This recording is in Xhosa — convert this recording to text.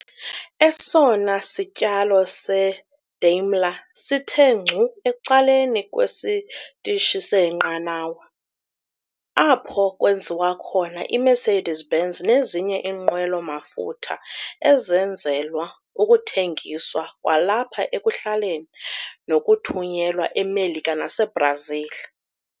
esona sityalo seDaimler sithe ngcu ecaleni kwesitishi seenqanawa, apho kwenziwa khona iMercedes-Benz nezinye iinqwelo-mafutha ezenzelwa ukuthengiswa kwalapha ekuhlaleni, nokuthunyelwa eMelika naseiBrazil.